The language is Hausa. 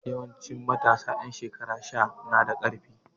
Yawanci matasa ƴan shekara sha na da ƙarfi.